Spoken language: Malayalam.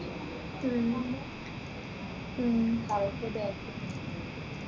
ഉം ഉം